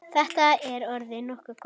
Þetta er orðið nokkuð gott.